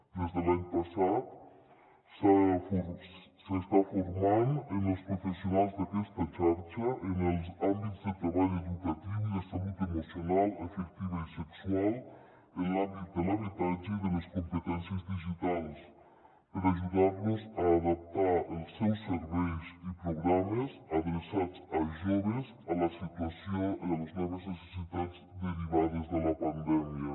des de l’any passat s’estan for·mant els professionals d’aquesta xarxa en els àmbits de treball educatiu i de salut emocional afectiva i sexual en l’àmbit de l’habitatge i en l’àmbit de les competèn·cies digitals per ajudar·los a adaptar els seus serveis i programes adreçats a joves a les noves necessitats derivades de la pandèmia